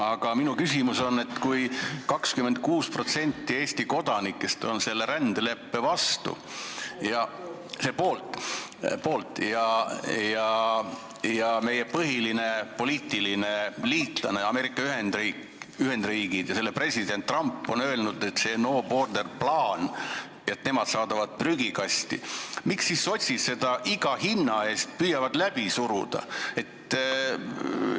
Aga minu küsimus on see: kui 26% Eesti kodanikest on selle rändeleppe poolt ja meie põhiline poliitiline liitlane, Ameerika Ühendriigid ja selle president Trump on öelnud, et no border plan, nemad saadavad selle prügikasti, siis miks sotsid seda iga hinna eest läbi suruda püüavad?